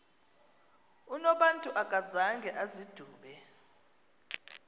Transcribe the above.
unobantu akazanga azidube